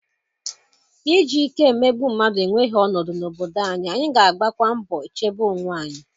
iji ike emegbu mmadụ enweghị ọnọdụ n'obodo anyị, anyị ga-agbakwa mbọ chebe onwe anyị.